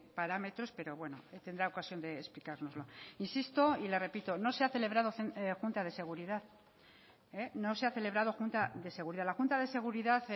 parámetros pero bueno tendrá ocasión de explicárnoslo insisto y le repito no se ha celebrado junta de seguridad no se ha celebrado junta de seguridad la junta de seguridad